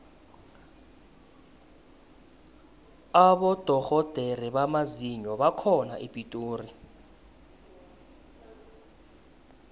abodorhodere bamazinyo bakhona epitori